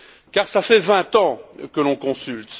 Car cela fait vingt ans que l'on consulte.